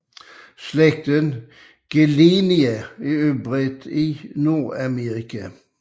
Slægten Gillenia er udbredt i Nordamerika